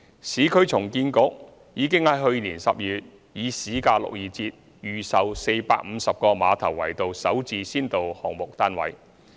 市區重建局已於去年12月以市價62折預售450個馬頭圍道"首置"先導項目單位。